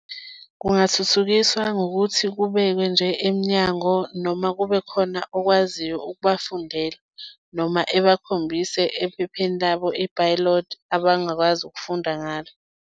Kungathuthukiswa ngokuthi kubekwe nje emnyango noma kube khona okwaziyo ukubafundela noma ebakhombise ephepheni labo iphayiloti abangakwazi ukufunda ngalo.